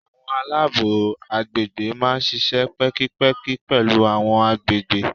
Àwọn alabo àgbègbè máa ń ṣíṣe pẹ́kípẹ́kí pẹ̀lú àwọn àgbègbè.